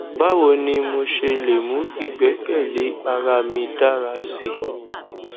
bawo ni mo ṣe le mu igbẹkẹle ara mi dara si